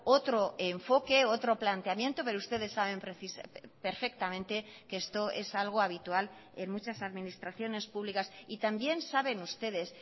otro enfoque otro planteamiento pero ustedes saben perfectamente que esto es algo habitual en muchas administraciones públicas y también saben ustedes